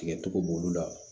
Tigɛcogo b'olu la